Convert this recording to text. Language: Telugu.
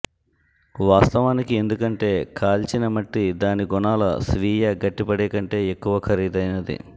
వాస్తవానికి ఎందుకంటే కాల్చిన మట్టి దాని గుణాల స్వీయ గట్టిపడే కంటే ఎక్కువ ఖరీదైనది